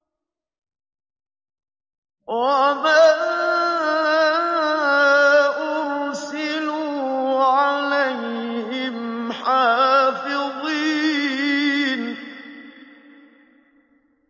وَمَا أُرْسِلُوا عَلَيْهِمْ حَافِظِينَ